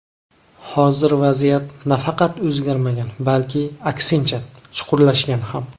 Hozir vaziyat nafaqat o‘zgarmagan, balki, aksincha, chuqurlashgan ham.